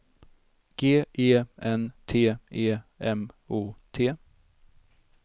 G E N T E M O T